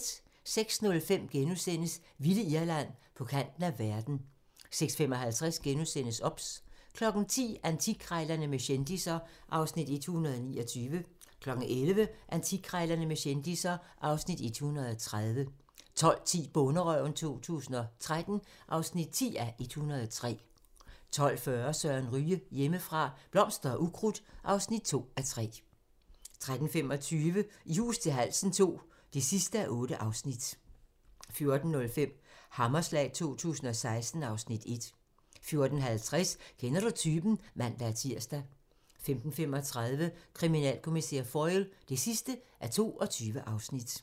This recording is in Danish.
06:05: Vilde Irland - på kanten af verden * 06:55: OBS * 10:00: Antikkrejlerne med kendisser (Afs. 129) 11:00: Antikkrejlerne med kendisser (Afs. 130) 12:10: Bonderøven 2013 (10:103) 12:40: Søren Ryge: Hjemmefra - blomster og ukrudt (2:3) 13:25: I hus til halsen II (8:8) 14:05: Hammerslag 2016 (Afs. 1) 14:50: Kender du typen? (man-tir) 15:35: Kriminalkommissær Foyle (22:22)